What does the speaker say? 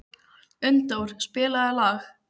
Unndór, spilaðu lag.